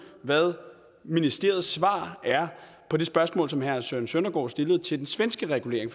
hvad ministeriets svar er på det spørgsmål som herre søren søndergaard stillede til den svenske regulering